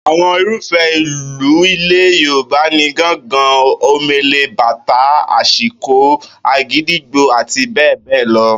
Àwo̩n irúfé̩ ìlù ilè̩ Yorùbá ni gángan, omele, bàtá, ashiko, àgídìgbo, àti bé̩è̩ bé̩è̩ lo̩